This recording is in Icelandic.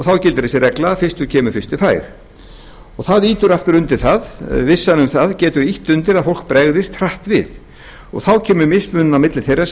þá gildir reglan fyrstur kemur fyrstu fær vissan um það getur ýtt undir að fólk bregðist hratt við þá kemur fram mismunun á milli þeirra sem